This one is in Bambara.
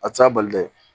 A tɛ taa bali dɛ